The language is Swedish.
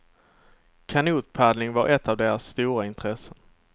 Kanotpaddling var ett av deras stora intressen.